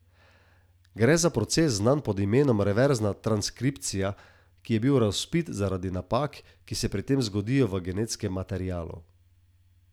Gre za proces znan pod imenom reverzna transkripcija in ki je razvpit zaradi napak, ki se pri tem zgodijo v genetskem materialu.